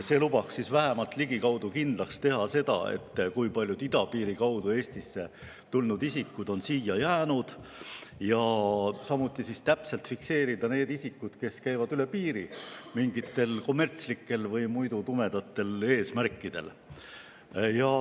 See lubaks vähemalt ligikaudu kindlaks teha seda, kui paljud idapiiri kaudu Eestisse tulnud isikud on siia jäänud, samuti täpselt fikseerida need isikud, kes käivad üle piiri mingitel kommertslikel või muidu tumedatel eesmärkidel.